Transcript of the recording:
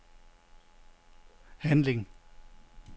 handling